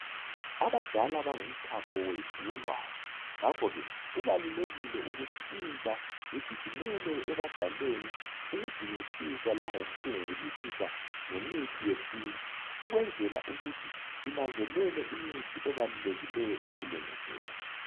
Abadala bangumthapho wethu wolwazi ngakho ke kubalulekile ukuthi intsha igijimele ebadaleni ukudingisisa langoku cubungulisisa ngemithi yesintu ukwenzela ukuthi sinanzelele imithi ebalulekileyo empilweni zethu.